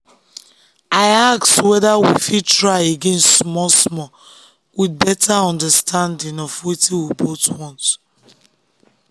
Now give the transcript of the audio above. i ask whether we fit try again small-small with better understanding of wetin we both want.